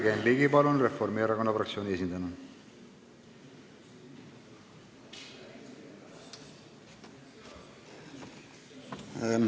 Jürgen Ligi, palun, Reformierakonna fraktsiooni esindajana!